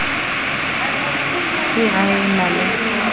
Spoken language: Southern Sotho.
se a e na le